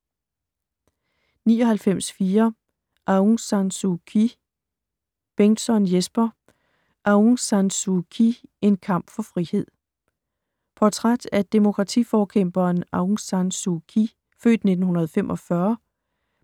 99.4 Aung San Suu Kyi Bengtsson, Jesper: Aung San Suu Kyi: en kamp for frihed Portræt af demokratiforkæmperen Aung San Suu Kyi (f. 1945),